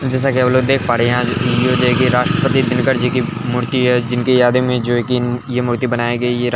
जैसा कि आप लोग देख पा रहे हैं ये राष्ट्रपति दिनकर जी की मूर्ति है जिनके यादें में जो ये की मूर्ति बनाई गयी है |